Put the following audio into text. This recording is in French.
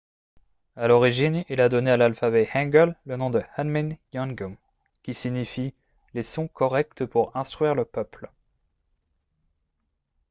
à l’origine il a donné à l’alphabet hangeul le nom de hunmin jeongeum qui signifie « les sons corrects pour instruire le peuple »